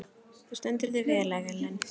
Þú stendur þig vel, Ellen!